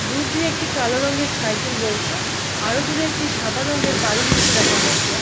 দূর দিয়ে একটি কালো রঙের সাইকেল রয়েছে আরো দূরে একটি সাদা রঙের বাড়ির মতো দেখা যাচ্ছে- এ।